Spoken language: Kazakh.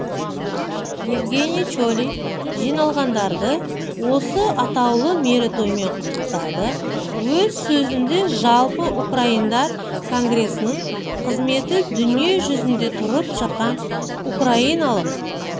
евгениий чолий жиналғандарды осы атаулы мерейтоймен құттықтады өз сөзінде жалпы украиндар конгресінің қызметі-дүниежүзінде тұрып жатқан украиналық